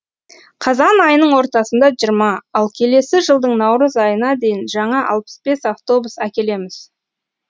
қазан айының ортасында жиырма ал келесі жылдың наурыз айына дейін жаңа алпыс бес автобус әкелеміз